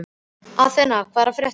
Athena, hvað er að frétta?